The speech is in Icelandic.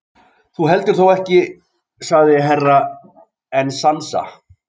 Þú heldur þó ekki sagði Herra Enzana.